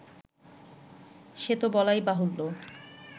সে তো বলাই বাহুল্য